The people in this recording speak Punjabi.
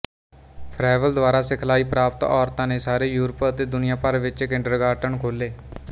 ਫਰੈਬਲ ਦੁਆਰਾ ਸਿਖਲਾਈ ਪ੍ਰਾਪਤ ਔਰਤਾਂ ਨੇ ਸਾਰੇ ਯੂਰਪ ਅਤੇ ਦੁਨੀਆ ਭਰ ਵਿੱਚ ਕਿੰਡਰਗਾਰਟਨ ਖੋਲ੍ਹੇ